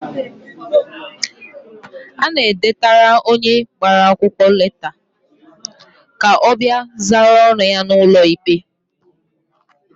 Ana edetara onye agbara akwụkwọ leta ka ọ bịa zara ọnụ ya n'ụlọ ikpe.